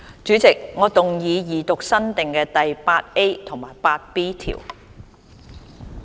主席，我動議二讀新訂的第 8A 及 8B 條。